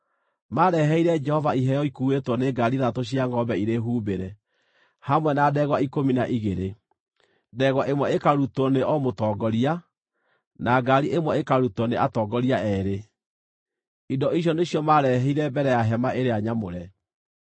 Maareheire Jehova iheo ikuuĩtwo nĩ ngaari ithathatũ cia ngʼombe irĩ humbĩre, hamwe na ndegwa ikũmi na igĩrĩ, ndegwa ĩmwe ĩkarutwo nĩ o mũtongoria, na ngaari ĩmwe ĩkarutwo nĩ atongoria eerĩ. Indo icio nĩcio maarehire mbere ya Hema-ĩrĩa-Nyamũre.